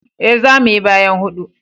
E, za mu yi bayan hudu.